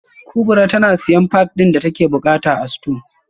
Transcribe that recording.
kubra tana siyan pad din da take bukata a store